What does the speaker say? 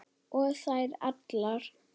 Og þær allar.